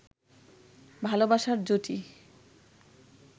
ভালবাসার জুটি